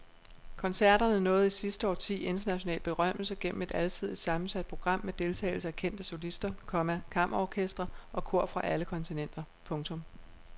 Koncerterne nåede i sidste årti international berømmelse gennem et alsidigt sammensat program med deltagelse af kendte solister, komma kammerorkestre og kor fra alle kontinenter. punktum